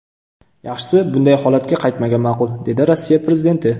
Yaxshisi, bunday holatga qaytmagan ma’qul”, dedi Rossiya prezidenti.